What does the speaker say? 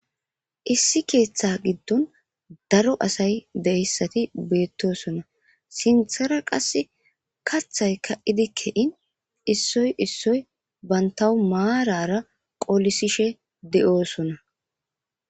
Issi keeththa giddon daro asay de7essati beettosona sinthara qas kathay ka7idikke7in issoy issoy bantawu maarara qolisishe de7oosona.